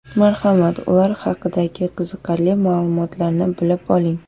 Marhamat, ular haqidagi qiziqarli ma’lumotlarni bilib oling.